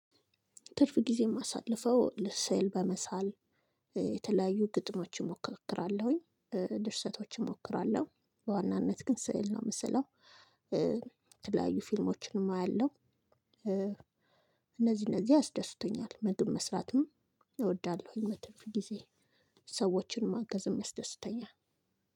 ትርፍ ጊዜ እማሳልፈው ስዕል በመሳል የተለያዩ ግጥሞች እሞክራለሁኝ ድርሰቶች እሞክራለሁ በዋናነት ግን ስዕል ነው እምሰለው። የተለያዩ ከተሞችን አያለሁ። እነዚህ እነዚህ ያስደስቱኛል ምግብ መስራትም እወዳለሁ። በትርፍ ጊዜዬ ሰዎችን መርዳትም ያስደስተኛል።